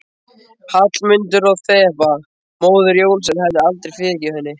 Hallmundur og Þeba, móðir Jónasar, hefðu aldrei fyrirgefið henni.